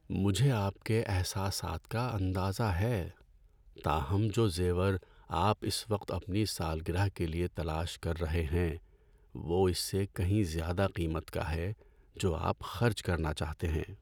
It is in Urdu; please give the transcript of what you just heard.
مجھے آپ کے احساسات کا اندازہ ہے، تاہم جو زیور آپ اس وقت اپنی سالگرہ کے لیے تلاش کر رہے ہیں وہ اس سے کہیں زیادہ قیمت کا ہے جو آپ خرچ کرنا چاہتے ہیں۔